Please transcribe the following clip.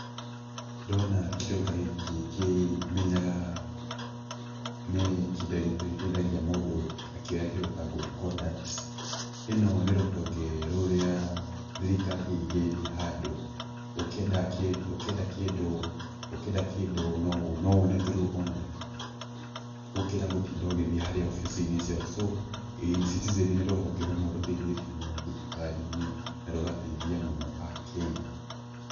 Ndona kĩndũ ta gĩkĩ kĩ, menyaga nĩ kĩndũ gĩteithagia mũndũ akĩoya kĩndũ ta good conduct ĩno nĩ rũhonge rũrĩa thirikari ĩigĩte handũ, ũkĩenda kĩndũ, ũkĩenda kĩndũ, ũkĩenda kĩndũ no wone through online gũkĩra gũtinda ũgĩthiĩ harĩa obici-inĩ ciao, so E-Citizen nĩ rũhonge rũmwe rũteithĩtie mũno thirikari-inĩ, na rũgateithia mũno Akenya.